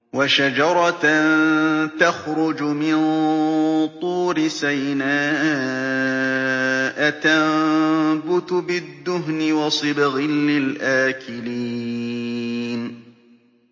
وَشَجَرَةً تَخْرُجُ مِن طُورِ سَيْنَاءَ تَنبُتُ بِالدُّهْنِ وَصِبْغٍ لِّلْآكِلِينَ